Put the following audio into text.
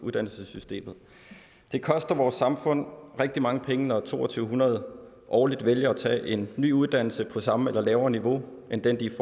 uddannelsessystemet det koster vores samfund rigtig mange penge når to tusind to hundrede årligt vælger at tage en ny uddannelse på samme eller lavere niveau end den de